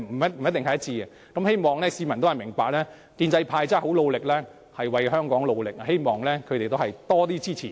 因此，我希望市民明白建制派是很努力為香港工作的，希望市民給予建制派更多支持。